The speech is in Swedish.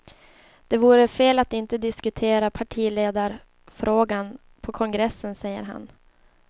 Det vore fel att inte diskutera partiledarfrågan på kongressen, säger han.